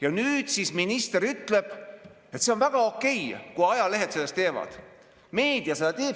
Aga nüüd minister ütleb, et on väga okei, kui ajalehed seda teevad, meedia seda teeb.